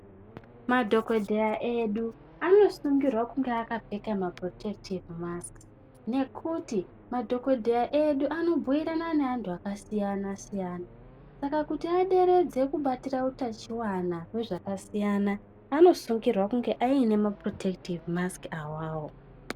Madhokodheya edu anosungirwa kunge akapfeka mapurotekitedhi masiki madhokodheya edu anotaura neantu akasiyana - siyana saka kuti aderedze kubatira uchiwana hwezvakasiyana anosungirwa kunge aine mapurotekitedhi masiki awawo .